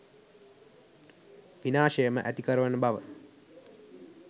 විනාශයම ඇතිකරවන බව